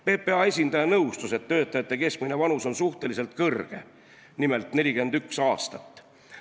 PPA esindaja nõustus, et töötajate keskmine vanus on suhteliselt kõrge, nimelt 41 aastat.